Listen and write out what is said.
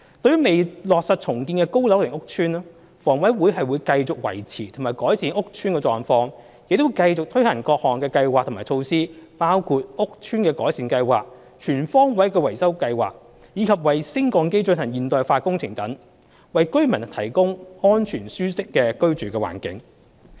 對於未落實重建的高樓齡屋邨，房委會會繼續維持和改善屋邨的狀況，亦會繼續推行各項計劃及措施，包括屋邨改善計劃、全方位維修計劃，以及為升降機進行現代化工程等，為居民提供安全舒適的居住環境。